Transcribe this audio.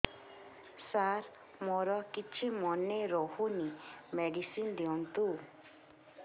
ସାର ମୋର କିଛି ମନେ ରହୁନି ମେଡିସିନ ଦିଅନ୍ତୁ